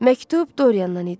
Məktub Doriyandan idi.